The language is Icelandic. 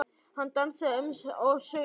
Hann dansaði um og söng: Tvo daga, tvo daga